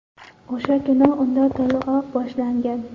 O‘sha kuni unda to‘lg‘oq boshlangan.